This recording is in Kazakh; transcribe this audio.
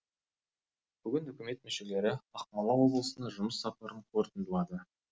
бүгін үкімет мүшелері ақмола облысына жұмыс сапарын қорытындылады